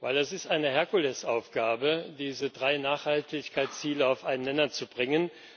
Denn es ist eine Herkulesaufgabe, diese drei Nachhaltigkeitsziele auf einen Nenner zu bringen.